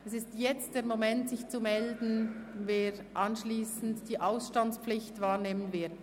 Es ist jetzt der Moment, sich dahingehend zu melden, wer anschliessend die Ausstandspflicht wahrnehmen wird.